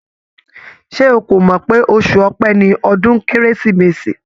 Ṣé ó kò mọ̀ pé oṣù Ọpẹ ni ọdún Kérésìmesì?